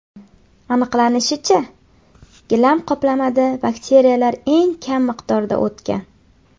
Aniqlanishicha, gilam qoplamada bakteriyalar eng kam miqdorda o‘tgan.